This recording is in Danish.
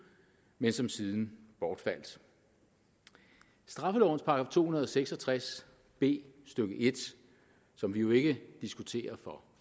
men som siden bortfaldt straffelovens § to hundrede og seks og tres b stykke en som vi jo ikke diskuterer for